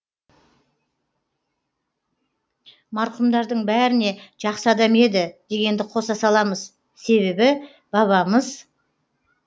марқұмдардың бәріне жақсы адам еді дегенді қоса саламыз себебі бабамыз